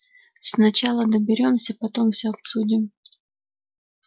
сначала доберёмся потом всё обсудим